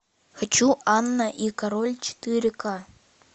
хочу анна и король четыре ка